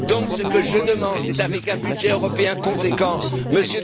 Ce que je demande, c'est qu'avec un budget européen conséquent